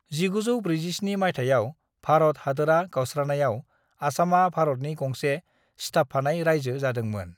"1947 मायथाइयाव भारत हादोरआ गावस्रानायाव, आसामआ भारतनि गंसे सिथाबफानाय रायजो जादोंमोन।"